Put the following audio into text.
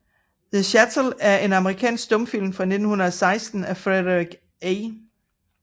The Chattel er en amerikansk stumfilm fra 1916 af Frederick A